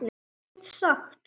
Hann gat ekkert sagt.